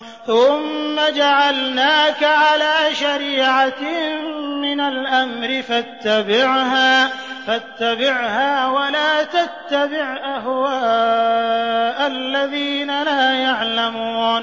ثُمَّ جَعَلْنَاكَ عَلَىٰ شَرِيعَةٍ مِّنَ الْأَمْرِ فَاتَّبِعْهَا وَلَا تَتَّبِعْ أَهْوَاءَ الَّذِينَ لَا يَعْلَمُونَ